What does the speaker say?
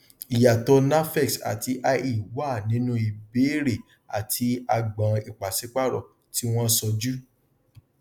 ìyàtọ nafex àti ie wà nínú ìbéèrè àti agbọn ipàsípaàrò tí wọn sọjú